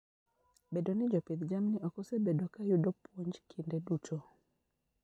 Bedo ni jopidh jamni ok osebedo ka yudo puonj kinde duto.